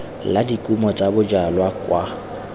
la dikumo tsa bojalwa kwa